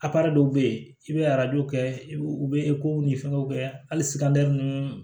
dɔw bɛ yen i bɛ arajow kɛ u bɛ ko ni fɛnw kɛ hali ninnu